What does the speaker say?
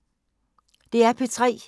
DR P3